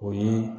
O ye